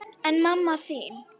En mamma þín?